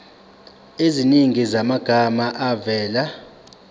eziningi zamagama avela